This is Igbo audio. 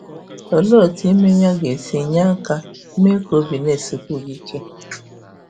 Olee otú ime ya ga - esi nye aka mee ka obi na - esikwu gị ike?